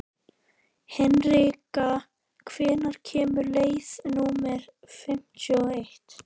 Hinrika, hvenær kemur leið númer fimmtíu og eitt?